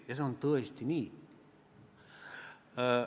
Ja see on tõesti nii.